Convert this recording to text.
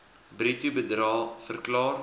bruto bedrae verklaar